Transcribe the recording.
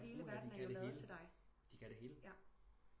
Hele verden er jo lavet til dig